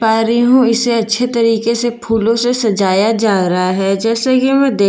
पा रही हु इसे अच्छे तरीके से फूलों से सजाया जा रहा है जैसे कि मैं दे--